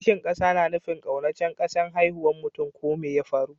Kishin kasa na nufin ƙaunacen kasan haihuwan mutum ko mai ya faru.